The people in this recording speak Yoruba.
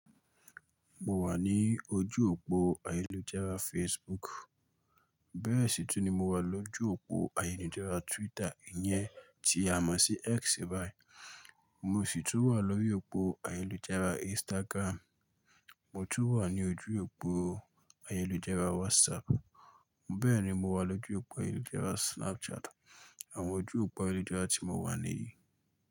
Mo wà ní ojú òpó ayélujára Facebook. Bẹ́ẹ̀ sì tún ní mo wà lójú òpó ayélujára Twitter, ìyẹn tí a mọ̀ sí X báyìí. Mo sì tún wà lórí òpó ayélujára Instagram. Mo tún wà ní ojú òpó ayélujára WhatsApp. Bẹ́ẹ̀ ni mo wà lójú òpó ayélujára Snapchat. Àwọn ojú òpó ayélujára tí mo wà nìyí.